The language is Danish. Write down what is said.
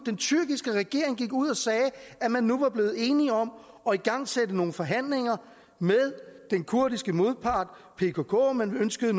tyrkiske regering ud og sagde at man nu var blevet enige om at igangsætte nogle forhandlinger med den kurdiske modpart pkk man ønskede